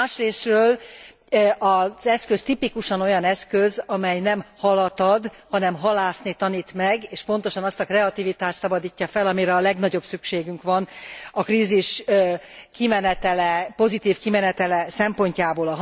Másrészről az eszköz tipikusan olyan eszköz, amely nem halat ad, hanem halászni tanít meg és pontosan azt a kreativitást szabadítja fel, amire a legnagyobb szükségünk van a krízis pozitív kimenetele szempontjából.